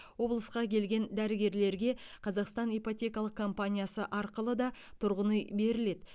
облысқа келген дәрігерлерге қазақстан ипотекалық компаниясы арқылы да тұрғын үй беріледі